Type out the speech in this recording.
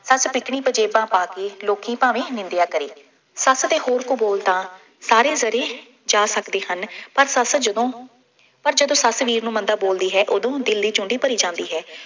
ਸੱਸ ਨਿਕਲੀ ਪੰਜ਼ੇਬਾਂ ਪਾ ਕੇ, ਲੋਕੀ ਭਾਵੇਂ ਨਿੰਦਿਆ ਕਰੇ, ਸੱਸ ਦੇ ਬੋਲ ਕਬੋਲ ਤਾਂ ਸਾਰੇ ਜ਼ਰੇ ਜਾ ਸਕਦੇ ਹਨ। ਪਰ ਸੱਸ ਜਦੋਂ ਪਰ ਜਦੋਂ ਸੱਸ ਵੀਰ ਨੂੰ ਮੰਦਾ ਬੋਲਦੀ ਹੈ ਉਦੋਂ ਦਿਲ ਦੀ ਚੂੰਡੀ ਭਰੀ ਜਾਂਦੀ ਹੈ।